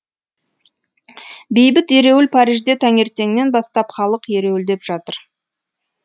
бейбіт ереуіл парижде таңертеңнен бастап халық ереуілдеп жатыр